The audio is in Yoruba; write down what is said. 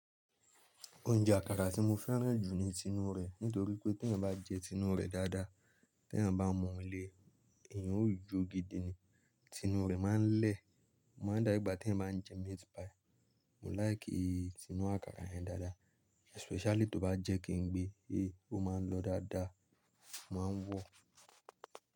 Oúnjẹ àkàrà tí mo fẹ́ràn jù ni tinú rẹ̀, nítorí pé tí ẹ́ bá jẹ tinú rẹ̀ dáadáa, tí ẹ́ bá mọ̀ ọ́ le, èyàn ó yó gidi ni. Tinú rẹ̀ máa ń lẹ̀, o máa ń dáru ìgbà tí ẹ́ bá ń jẹ meat pie. Mo láìkì tinú àkàrà yẹn dáadáa, especially tó bá jẹ́ kí n gbé, ẹ́, ó máa ń lọ dáadáa, mo ma ń wọ̀.